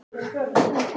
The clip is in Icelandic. Ekki einu sinni neisti.